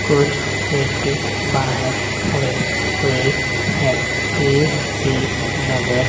कुछ व्यक्ति बाहर खड़े हुए है भीड़ भी नज़र --